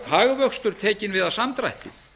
hagvöxtur tekinn við af samdrætti